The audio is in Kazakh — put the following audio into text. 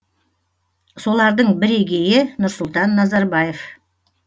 солардың бірегейі нұрсұлтан назарбаев